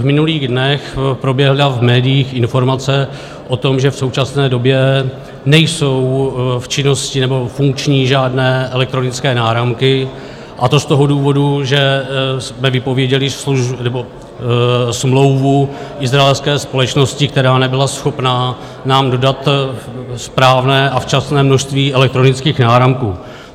V minulých dnech proběhla v médiích informace o tom, že v současné době nejsou v činnosti nebo funkční žádné elektronické náramky, a to z toho důvodu, že jsme vypověděli smlouvu izraelské společnosti, která nebyla schopna nám dodat správné a včasné množství elektronických náramků.